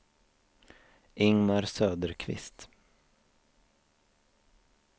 Ingemar Söderqvist